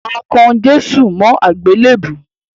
A kan Jésù mọ́ àgbélèbú.